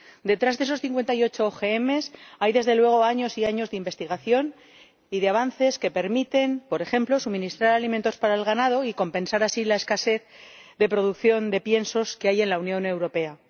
Detrás de esos cincuenta y ocho OMG hay, desde luego, años y años de investigación y de avances que permiten, por ejemplo, suministrar alimentos para el ganado y compensar así la escasez de producción de piensos que hay en la Unión Europea.